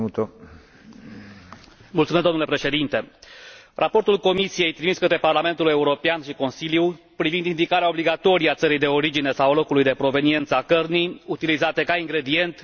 Raportul Comisiei trimis către Parlamentul European și Consiliu privind indicarea obligatorie a țării de origine sau a locului de proveniență a cărnii utilizate ca ingredient m a determinat să votez în favoarea acestei rezoluții.